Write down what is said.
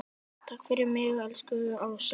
Takk fyrir mig, elsku Ása.